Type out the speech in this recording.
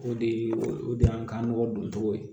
O de ye o de y'an ka mɔgɔ doncogo ye